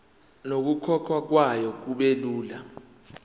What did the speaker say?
nokukhokhwa kwayo kubelula